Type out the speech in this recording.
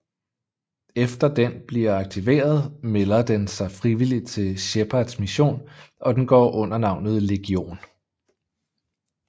Efter den bliver aktiveret melder den sig frivillig til Shepards mission og den går under navnet Legion